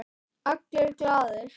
Allir glaðir.